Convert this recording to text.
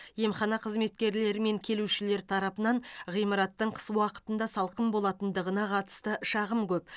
емхана қызметкерлері мен келушілер тарапынан ғимараттың қыс уақытында салқын болатындығына қатысты шағым көп